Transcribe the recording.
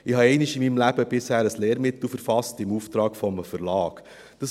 Ich habe bisher einmal in meinem Leben ein Lehrmittel im Auftrag eines Verlags verfasst.